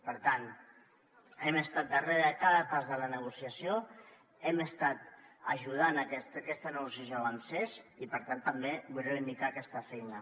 per tant hem estat darrere de cada pas de la negociació hem estat ajudant a que aquesta negociació avancés i per tant també vull reivindicar aquesta feina